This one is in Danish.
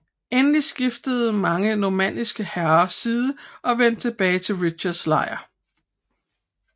Endelig skiftede mange normanniske herrer side og vendte tilbage til Richards lejr